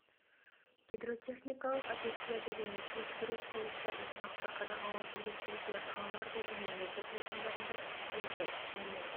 гидротехникалық объектілерді және су жіберу құрылыстарын тұрақты қадағалау жүргізілуде қаларда және облыс аудандарында көшелерді және